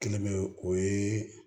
Kelen bɛ o ye